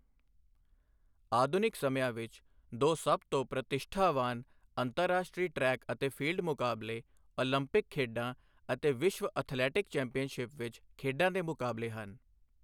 ਆਧੁਨਿਕ ਸਮਿਆਂ ਵਿੱਚ, ਦੋ ਸਭ ਤੋਂ ਪ੍ਰਤਿਸ਼ਠਾਵਾਨ ਅੰਤਰਰਾਸ਼ਟਰੀ ਟਰੈਕ ਅਤੇ ਫੀਲਡ ਮੁਕਾਬਲੇ ਓਲੰਪਿਕ ਖੇਡਾਂ ਅਤੇ ਵਿਸ਼ਵ ਅਥਲੈਟਿਕਸ ਚੈਂਪੀਅਨਸ਼ਿਪ ਵਿੱਚ ਖੇਡਾਂ ਦੇ ਮੁਕਾਬਲੇ ਹਨ।